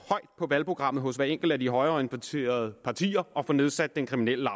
på valgprogrammet hos hvert enkelt af de højreorienterede partier at få nedsat den kriminelle